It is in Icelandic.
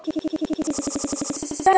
Helgi og Þórunn.